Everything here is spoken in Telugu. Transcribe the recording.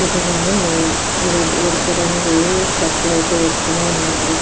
ఇతను నే ఆ రెడ్ ఎరుపు రంగు షర్ట్ అయితే వేసుకుని ఉన్నాడు.